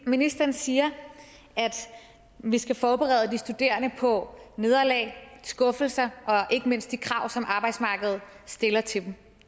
ministeren siger at vi skal forberede de studerende på nederlag skuffelser og ikke mindst de krav som arbejdsmarkedet stiller til dem